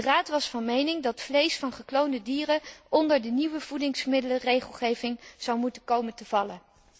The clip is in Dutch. De Raad was van mening dat vlees van gekloonde dieren onder de nieuwe voedingsmiddelenregelgeving zou moeten komen te vallen.